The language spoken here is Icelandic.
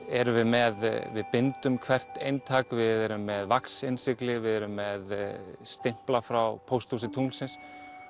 erum við með við bindum hvert eintak við erum með við erum með stimpla frá pósthúsi tunglsins